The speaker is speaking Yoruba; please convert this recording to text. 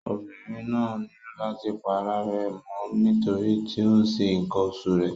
Obìnrin náà nílò láti pa ara rẹ̀ mọ́ nítorí tí ó ń ṣe ǹkan oṣù rẹ̀.